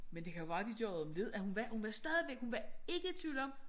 Men det kan jo være de gør det om lidt og hun var hun var stadigvæk hun var ikke i tvivl om